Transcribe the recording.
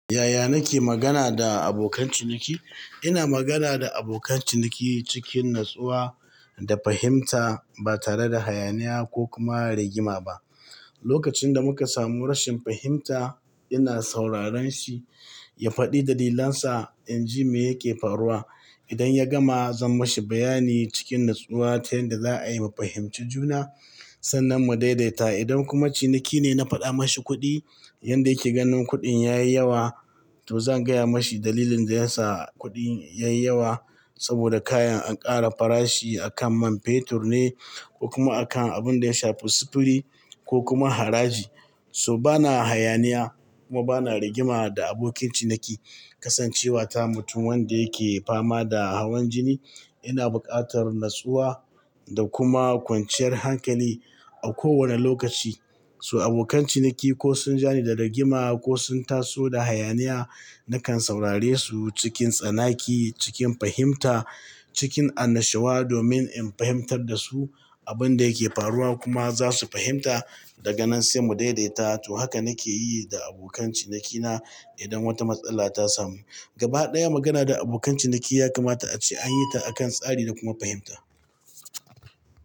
Yaya nake magana da abokan ciniki? Ina magana da abokan ciniki cikin natsuwa da fahimta ba tare da hayaniya ko kuma rigima ba. Lokacin da muka samu rashin fahimta, ina sauraren shi ya faɗi dalilansa in ji me yake faruwa. Idan ya gama, zan mashi bayani cikin natsuwa ta yanda za'ayi mu fahimci juna sannan mu daidaita. Idan kuma ciniki ne na faɗa mashi kuɗi, yanda yake ganin kuɗin ya yi yawa, to zan gaya mashi dalilin da yasa kuɗin ya yi yawa. Saboda kayan an ƙara farashi a kan man fetur ne ko kuma a kan abun da ya sha sufuri ko kuma haraji. So bana hayaniya kuma bana rigima da abokin ciniki. Kasancewa ta mutum wanda yake fama da hawan jini, ina buƙatar natsuwa da kuma kwanciyar hankali a kowane lokaci. So abokan ciniki ko sun ja ni da rigima ko sun taso da hayaniya, nakan saurare su cikin tsanaki, cikin fahimta, cikin annashawa domin in fahimtar da su abun da yake faruwa kuma za su fahimta da ganan sai mu daidaita. To haka nake yi da abokan cinikina idan wata matsala ta samu. Gaba ɗaya magana da abokan ciniki yakama ta a ce an yi ta a kan tsari da kuma fahimta.